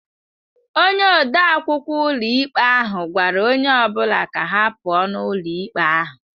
Onye ode akwụkwọ ụlọikpe ahụ gwara onye ọ bụla ka ha pụọ ​​n'ụlọ ikpe ahụ